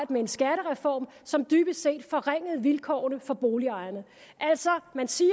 med en skattereform som dybest set forringede vilkårene for boligejerne altså man siger